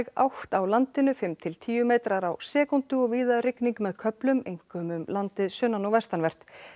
átt á landinu fimm til tíu metrar á sekúndu og víða rigning með köflum einkum um landið sunnan og vestanvert